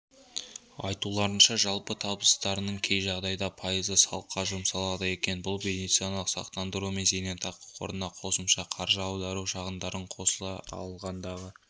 айтуларынша жалпы табыстарының кей жағдайда пайызы салыққа жұмсалады екен бұл медициналық сақтандыру мен зейнетақы қорына қосымша қаржы аудару шығындарын қоса алғандағы